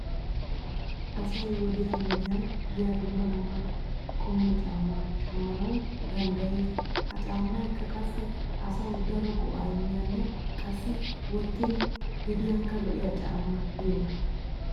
Asay wodiyan wodiyan yiya dumma dumma qommo caamma sshammanawu danddayees. He caammaykka qassi asawu daro go'aa immiyanne qassi wottin gediyankka lo'iya caamma giyogaa.